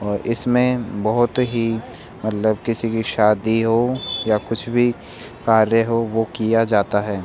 और इसमें बहोत ही मतलब किसी की शादी हो या कुछ भी कार्य हो वो किया जाता है।